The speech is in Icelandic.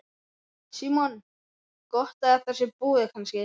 Símon: Gott að þetta sé búið kannski?